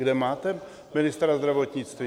Kde máte ministra zdravotnictví?